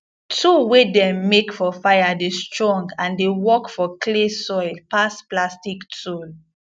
tool wey dem make for fire dey strong and dey work for clay soil pass plastic tool